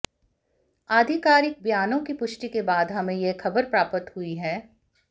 आधिकारिक बयानों की पुष्टि के बाद हमें यह खबर प्राप्त हुई है